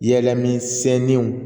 Yɛlɛmisɛninw